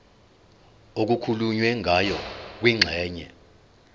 okukhulunywe ngayo kwingxenye